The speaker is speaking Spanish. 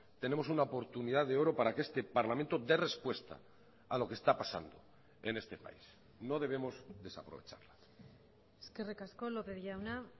tenemos una oportunidad de oro para que este parlamento dé respuesta a lo que está pasando en este país no debemos desaprovecharlo eskerrik asko lópez jauna